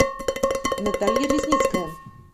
наталья резницкая